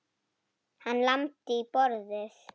Hann lamdi í borðið.